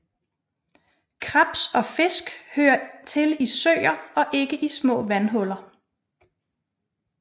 Krebs og fisk hører til i søer og ikke i små vandhuller